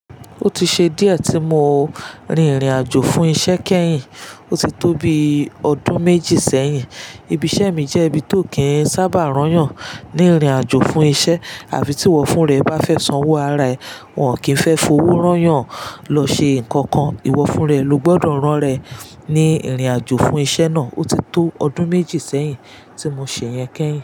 Ó ti ṣe díẹ̀ tí mo rin ìrìnàjò fún iṣẹ́ kẹ́yìn, ó ti tó bi ọdún méjì sẹ́yìn. Ibi iṣẹ́ mi jẹ́ ibi tó kí n sábà rányàn ní ìrìnàjò fún iṣẹ́ àbí tí ìwọ fún rẹ̀ bá fẹ́ sanwó ara ẹ̀, wọ́n ò kí ń fẹ́ fowó rányàn lọ ṣe nǹkan kan. Ìwọ fúnra ẹ ló gbọ́dọ̀ rán ra ẹ̀ ní ìrìnàjò fún iṣẹ́ náà. Ó ti tó ọdún méjì sẹ́yìn tí mo ṣe yẹn kẹ́yìn.